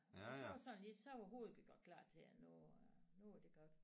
Og så var det sådan ligesom så var hovedet klar til at nu var det godt